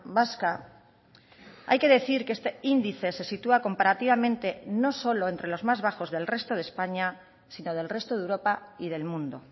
vasca hay que decir que este índice se sitúa comparativamente no solo entre los más bajos del resto de españa sino del resto de europa y del mundo